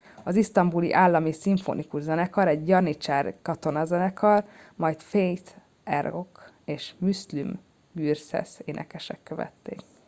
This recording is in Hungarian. az isztambuli állami szimfonikus zenekar egy janicsár katonazenekar majd fatih erkoç és müslüm gürses énekesek követték